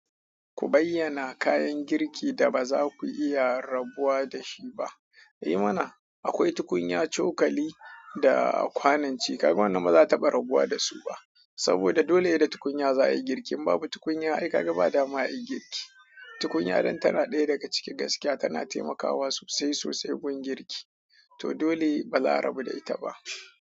Ku bayyana kayan girki da ba za ku iya rabuwa da shi ba. E mana, akwai tukunya, cokali da kwanon ci. Ka Gawanna ba za ta bar rabuwa da su ba. Saboda dole ne da tukunya za a yi girki. In babu tukunya, ai gaga ba dama a yi girki. Tukunya ɗin tana ɗaya daga cikin gaskiya tana taimakawa sosai sosai gun girki. To dole ba za a rabu da ita ba.